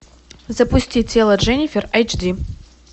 запусти тело дженнифер айч ди